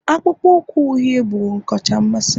akpụkpọ ụkwụ uhie bụ ọkacha mmasị m